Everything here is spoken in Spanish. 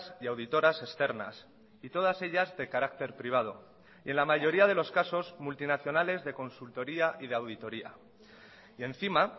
y auditoras externas y todas ellas de carácter privado y en la mayoría de los casos multinacionales de consultoría y de auditoría y encima